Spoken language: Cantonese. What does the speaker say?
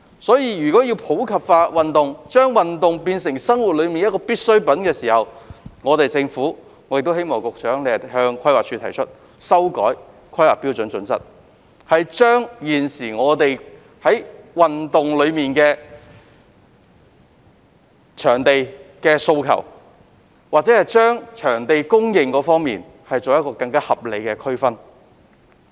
因此，如果要普及化運動，把運動變成生活中必需的部分，我希望局長會向規劃署提出修訂《香港規劃標準與準則》，就不同地區的運動場地供應作出更合理的區分。